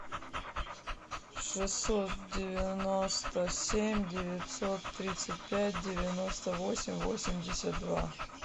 шестьсот девяносто семь девятьсот тридцать пять девяносто восемь восемьдесят два